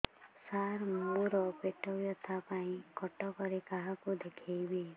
ସାର ମୋ ର ପେଟ ବ୍ୟଥା ପାଇଁ କଟକରେ କାହାକୁ ଦେଖେଇବି